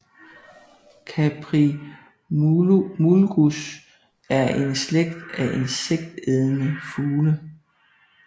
Caprimulgus er en slægt af insektædende fugle